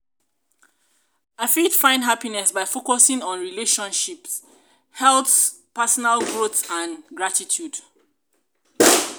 i fit find happiness by focusing on relationships health personal growth and gratitude.